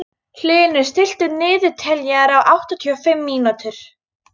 Hlynur, stilltu niðurteljara á áttatíu og fimm mínútur.